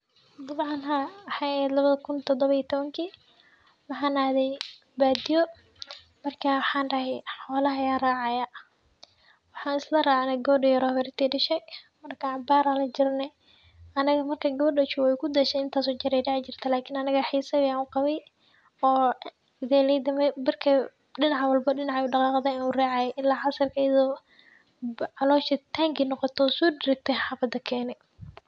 Dabcan waxay ahayd labada kun todoba iyo tobankii waxaan adhey baadiyo marka waaxan daahay xoolaha aya racaya, waxaan isla raacnay gabadh yar oo xawar yartey dashay ,marka cabaar aan la jirnay aniga marka gabadh oo joogay waay ku dhashay intaas oo jeer ay raaci jirtay laakiin aniga xiisaa ayan u qabay, oo idhaleyda dhinac walba dhinaca udaqaaqdao ee uu raacayay ilaa casirki iyadoo caloosha tanki noqoto oo sodaragte ee xafada Keene.